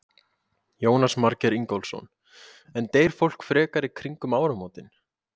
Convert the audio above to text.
Jónas Margeir Ingólfsson: En deyr fólk frekar í kringum áramótin?